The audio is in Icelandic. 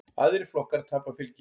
Aðrir flokkar tapa fylgi.